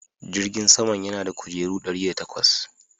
Jirgin saman yana da kujeru ɗari da takwas.